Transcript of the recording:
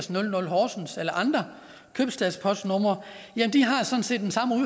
hundrede horsens eller andre købstadspostnumre